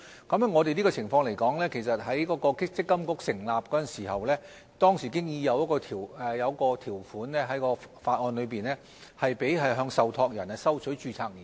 關於這種情況，其實在積金局成立時，當時在法案已經有一項條款，准許向受託人收取註冊年費。